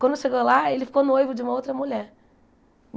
Quando chegou lá, ele ficou noivo de uma outra mulher.